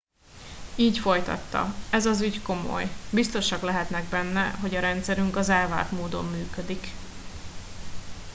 így folytatta ez az ügy komoly biztosak lehetnek benne hogy a rendszerünk az elvárt módon működik